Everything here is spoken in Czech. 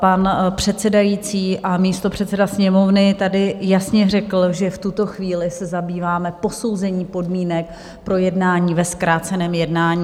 Pan předsedající a místopředseda Sněmovny tady jasně řekl, že v tuto chvíli se zabýváme posouzením podmínek pro jednání ve zkráceném jednání.